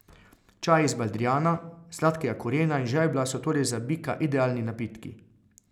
Čaji iz baldrijana, sladkega korena in žajblja so torej za bika idealni napitki.